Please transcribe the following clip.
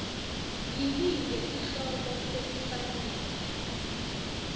yinike sihloko lesifanele